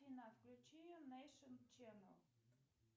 афина включи нейшен ченел